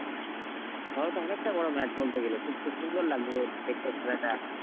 তাহলে তো অনেকটা বড় match বলতে গেলে, খুব তো সুন্দর লাগলো দেখতে খেলাটা.